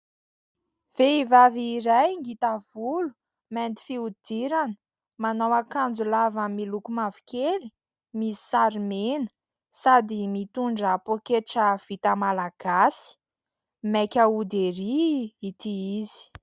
Vehivavy iray ngita volo, mainty fihodirana, manao akanjo lava miloko mavokely, misy sary mena, sady mitondra poaketra vita malagasy. Maika hody ery ity izy.